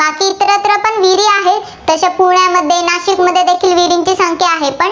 कोणते आहे?